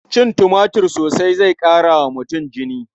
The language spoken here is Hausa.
Cin tumatir sosai zai ƙara wa mutum jini.